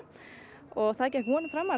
og það gekk vonum framar